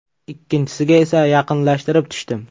Ikkinchisiga esa yaqinlashtirib tushdim.